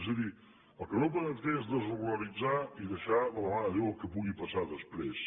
és a dir el que no podem fer és desregularitzar i deixar de la mà de déu el que pugui passar després